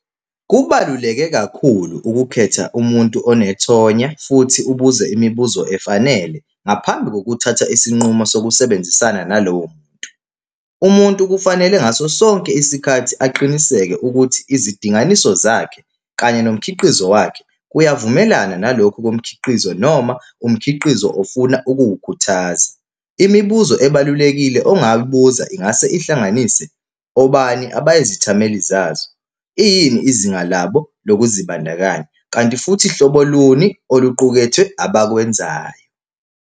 Kubaluleke kakhulu ukukhetha umuntu onethonya, futhi ubuze imibuzo efanele, ngaphambi kokuthatha isinqumo sokusebenzisana nalowo muntu. Umuntu kufanele ngaso sonke isikhathi aqiniseke ukuthi izidinganiso zakhe kanye nomkhiqizo wakhe kuyavumelana nalokhu komkhiqizo noma umkhiqizo ofuna ukuwukhuthaza. Imibuzo ebalulekile ongayibuza ingase ihlangane, obani abayithameli zazo, iyini izinga labo lokuzibandakanya, kanti futhi hlobo luni oluqukethwe abakwenzayo.